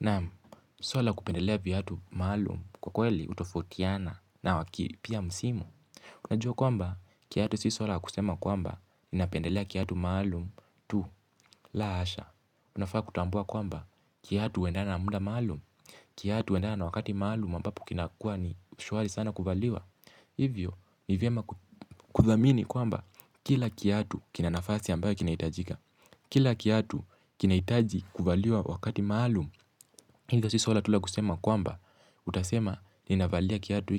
Naam, swala la kupendelea viatu maalum kwa kweli hutofautiana na waki pia msimu. Unajua kwamba, kiatu si swala la kusema kwamba, ninapendelea kiatu maalum tu la asha. Unafaa kutambua kwamba, kiatu huendana na muda maalum, kiatu huendana na wakati maalum ambapo kinakua ni shwari sana kuvaliwa. Hivyo, ni vyema kudhamini kwamba, kila kiatu kina nafasi ambayo kinahitajika. Kila kia hatu kinaitaji kubaliwa wakati maalum. Hilo si swala tu la kusema kwamba, utasema ninavalia kiatu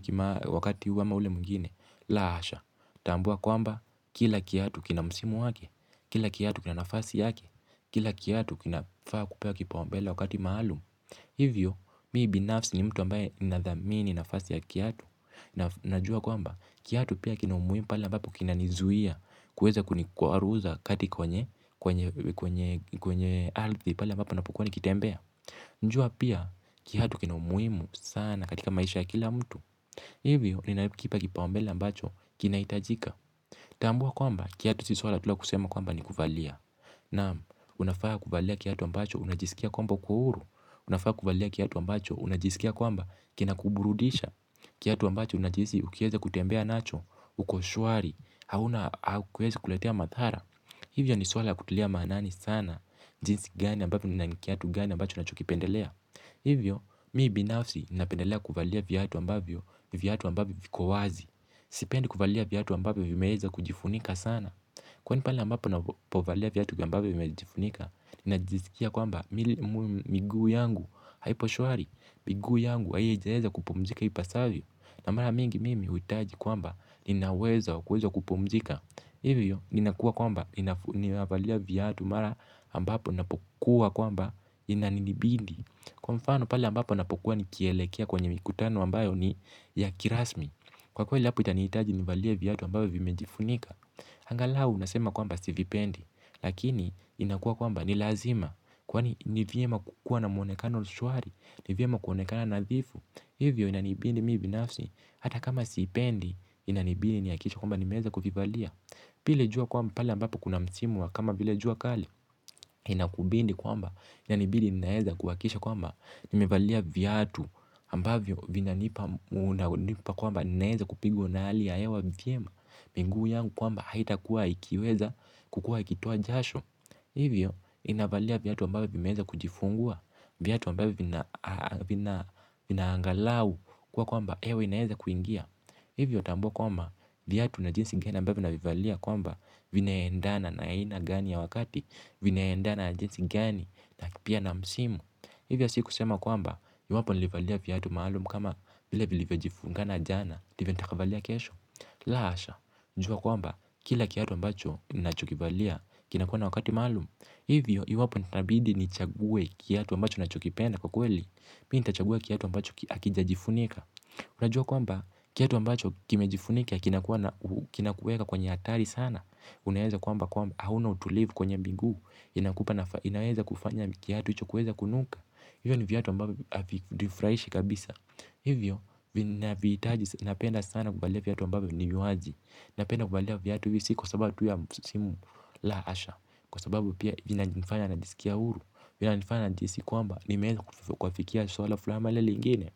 wakati huu ama ule mwingine. La hasha, utaambiwa kwamba kila kiatu kina msimu wake, kila kiatu kina nafasi yake. Kila kiatu kinafaa kupewa kipaombele wakati maalum. Hivyo, mmii binafsi ni mtu ambaye nadhamini nafasi ya kiatu. Najua kwamba, kiatu pia kina umuhimu pala ambapo kina nizuia. Kuweza kunikwaruza kati kwenye ardhi pale ambapo napokua nikitembea jua pia, kiatu kina umuhimu sana katika maisha ya kila mtu. Hivyo, ninakipa kipaombele ambacho kina hitajika. Tambua kwamba, kiatu si swala tu la kusema kwamba ni kuvalia. Naam, unafaa kuvalia kiatu ambacho unajisikia kwamba uko huru. Unafaa kuvalia kiatu ambacho unajisikia kwamba kina kuburudisha. Kiatu ambacho unajisi ukieza kutembea nacho, uko shwari, hauna hakiwezi kuletea madhara. Hivyo ni swala la kutilia maanani sana, jinsi gani ambapo ni kiatu gani ambacho nachokipendelea. Hivyo, mimi binafsi napendelea kuvalia viatu ambavyo viatu ambavyo viko wazi. Sipendi kuvalia viatu ambavyo vimeweza kujifunika sana. Kwani pale ambapo napovalia viatu ambavyo vimejifunika najisikia kwamba miguu yangu haipo shwari. Miguu yangu haijaeza kupumzika ipasavyo. Na mara mingi mimi huitaji kwamba ninauwezo wa kuweza kupumzika. Hivyo, ninakua kwamba ninavalia viatu mara ambapo ninapokuwa kwamba Inanibidi Kwa mfano pale ambapo napokuwa nikielekea kwenye mikutano ambayo ni ya kirasmi. Kwa kweli hapo itanihitaji nivalie viatu ambavyo vimejifunika. Angalau nasema kwamba sivipendi. Lakini inakua kwamba ni lazima. Kwani nivyema kukua na muonekano shwari. Ni vyema kuonekana nadhifu. Hivyo inanibidi mimi binafsi hata kama siipendi inanibidi nihakikishe kwamba nimeweza kuvivalia. Pia ile jua kwamba pale ambapo kuna msimu wa kama vile jua kali. Inakubidi kwamba inanibidi ninaeza kuhakikisha kwamba nimevalia viatu ambavyo vinanipa nipa kwamba ninaeza kupigwa na hali ya hewa vyema. Miguu yangu kwamba haita kuwa ikiweza kukua ikitoa jasho. Hivyo ninavalia viatu ambavyo vina angalau kuwa kwamba hewa inaweza kuingia. Hivyo tambua kwamba viatu na jinsi gani ambavyo na vivalia kwamba vina endana na ina gani ya wakati. Vina endana na jinsi gani. Na pia na msimu. Hivyo si kusema kwamba iwapo nilivalia viatu maalum kama vile vilivyo jifungana jana ndivyo nitakavyovalia kesho. La hasha, jua kwamba kila kiatu ambacho ninachokivalia kinakuwa na wakati maalum. Hivyo, iwapo nitabidi nichague kiatu ambacho nachokipenda kwa kweli. Mimi nitachagua kiatu ambacho hakija jifunika. Unajua kwamba kiatu ambacho kimejifunika. Kinakuweka kwenye hatari sana. Unaeza kwamba kwamba hauna utulivu kwenye miguu. Inaweza kufanya kiatu hicho kuweza kunuka. Hivyo ni viatu ambavyo havi nifurahishi kabisa. Hivyo vina vihitaji napenda sana kuvalia viatu ambavyo ni wazi. Napenda kuvalia viatu si kwa sababu tu ya misimu la hasha. Kwa sababu pia vina nifanya najisikia huru. Vina nifanya najihisi kwamba nimeweza kuafikia swala flani au lile lingine.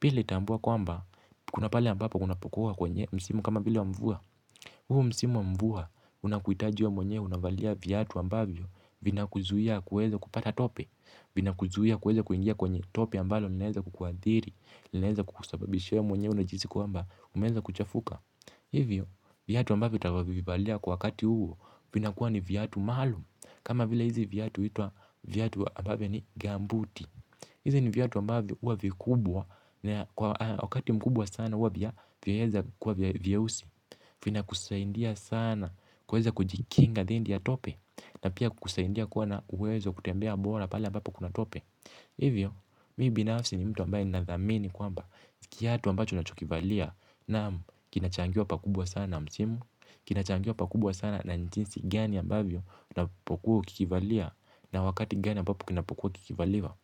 Pia nili tambua kwamba kuna pale ambapo kunapokua kwenye msimu kama vile wa mvua. Huu msimu wa mvua unakuhitaji wewe mwenye unavalia viatu ambavyo vina kuzuia kuweza kupata tope, vina kuzuia kuweza kuingia kwenye tope ambalo linaeza kukuathiri, linaeza kukusababishia wewe mwenye unajhisi kwamba umeweza kuchafuka. Hivyo viatu ambavyo utavyo vivalia kwa wakati huu vina kuwa ni viatu maluum kama vile hizi viatu huitwai viatu ambavyo ni gambuti. Hizi ni viatu ambavyo huwa vikubwa na wakati mkubwa sana huwa vya vyaeza kuwa vyeusi. Vina kusaidia sana kuweza kujikinga dhidi ya tope na pia kukusaidia kuwa na uwezo wa kutembea bora pale ambapo kuna tope. Hivyo mimi binafsi ni mtu ambaye nadhamini kwamba kiatu ambacho nachokivalia naam kinachangiwa pakubwa sana na msimu. Kina changiwa pakubwa sana na jinsi gani ambavyo unapokuwa ukikivalia na wakati gani ambapo kinapokuwa kikivaliwa.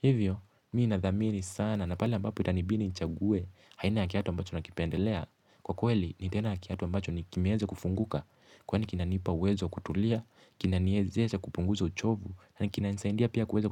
Hivyo, mimi nadhamini sana na pale ambapo itanibidi nichague aina ya kiatu ambacho nakipendelea. Kwa kweli, nitaenda na kiatu ambacho ni kimeweza kufunguka. Kwani kinanipa uwezo wa kutulia, kinaniezesha kupunguza uchovu. Na kinanisaidia pia kuweza kutulia.